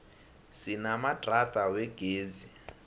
sinamadrada wegezi